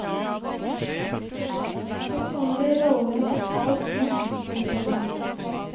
Hos noen blir rollene totalt snudd. punktum